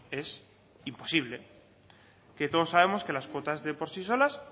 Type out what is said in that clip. es imposible que todos sabemos que las cuotas de por sí solas